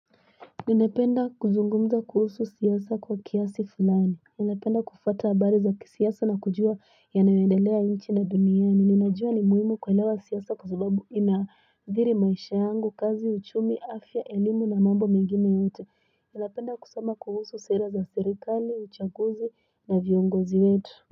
Ninapenda kuzungumza kuusu siyasako kiasi fulani, nilapenda kufata bariza kisiasa na kujua yana yandaliwa inchi na dunia, ninajua ni mwimu kualiawa siyasako zubabu ina dhiri maishayangu, kazi uchumi afia elimu na mambo megine yote, nilapenda kusama kuusu seiraza sterikali, uchakuzi na vyongozi wetu.